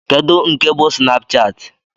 Kedu nke bú Snapchat?